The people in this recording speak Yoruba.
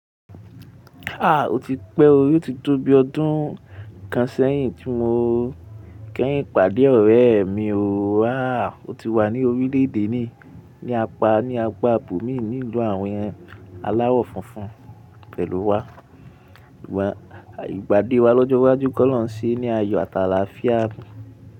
Ah o ti pé o, yoó ti tó bi ọdún kan sẹ́yìn tí mo kẹ́yìn ìpàdé ọ̀rẹ́ mi o. Ah o ti wà ní orílẹ̀èdè ni, ní apá ní apròbòmíì nílùú àwọn aláwọ̀ funfun ibẹ̀ ló wa. Ìpàdé wa lọ́jọ́ iwájú k'ọlọ́rùn ṣe ní ayọ̀ àtàlà fíà.